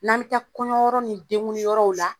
N'an be taa kɔɲɔyɔrɔ ni denkunliyɔrɔw la